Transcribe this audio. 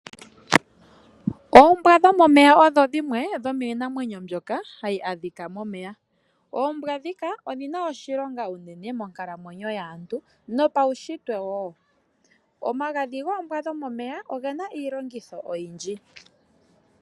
Oombwa dho momeya odhi dhimwe dho miinamwenyo mbyoka ha yi adhika momeya. Oombwa ndhika odhi na oshilonga unene monkalamwenyo yaantu nopaushitwe wo. Omagadhi goombwa dho momeya oge na iilongitho oyindji.